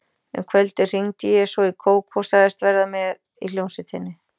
Um kvöldið hringdi ég svo í Kókó og sagðist verða með í hljómsveitinni.